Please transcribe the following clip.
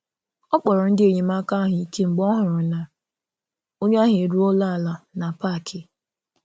Ọ kpọrọ ndị enyemaka ahụ ike mgbe ọ hụrụ na onye ahụ eruola ala na parki